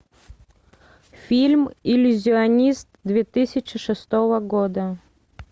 фильм иллюзионист две тысячи шестого года